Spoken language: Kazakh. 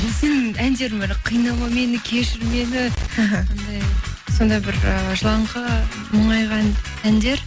сенің әндерің бәрі қинама мені кешір мені іхі андай сондай бір ы жылаңқы мұңайған әндер